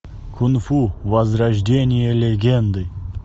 кунг фу возрождение легенды